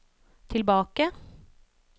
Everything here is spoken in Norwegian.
tilbake